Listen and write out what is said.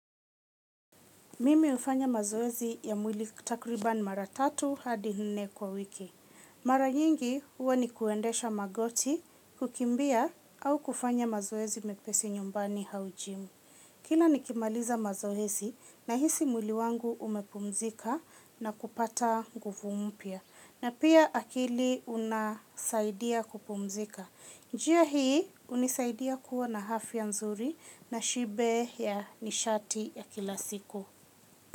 Mimi hufanya mazoezi ya mwili takribani mara tatu hadi nne kwa wiki. Mara nyingi huwa ni kuendesha magoti kukimbia au kufanya mazoezi mepesi nyumbani au jimu. Kila nikimaliza mazoezi nahisi mwili wangu umepumzika na kupata nguvu mpya. Na pia akili unasaidia kupumzika. Njia hii hunisaidia kuwa na afya nzuri na shibe ya nishati ya kila siku.